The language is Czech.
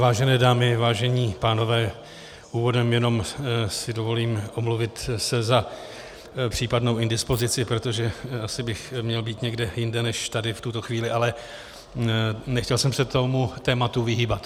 Vážené dámy, vážení pánové, úvodem si jenom dovolím omluvit se za případnou indispozici, protože asi bych měl být někde jinde než tady v tuto chvíli, ale nechtěl jsem se tomu tématu vyhýbat.